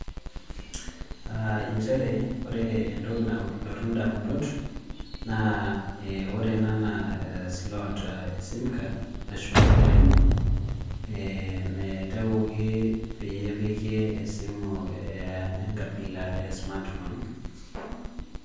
Injere ore entoki nalotu indamunot, naa ore ena naa e slot e sim card ashu olaini, naitowoki pee epiki esimu enkabila e smartphone.